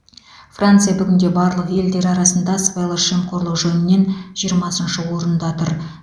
франция бүгінде барлық елдер арасында сыбайлас жемқорлық жөнінен жиырмасыншы орында тұр